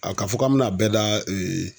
A ka fɔ k'an m'a bɛɛ da